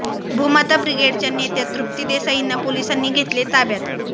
भूमाता ब्रिगेडच्या नेत्या तृप्ती देसाईंना पोलिसांनी घेतले ताब्यात